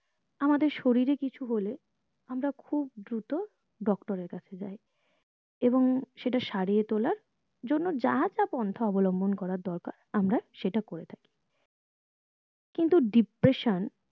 আমাদের শরীর এর কিছু হলে আমরা খুব দ্রুত doctor এর কাছে যাই এবং সেটা সরিয়ে তোলার জন্য যা যা পন্থা অবলম্বন করা দরকার আমরা সেটা করে থাকি কিন্তু depression